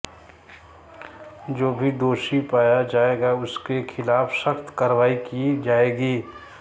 जो भी दोषी पाया जाएगा उसके खिलाफ सख्त कार्रवाई की जाएगी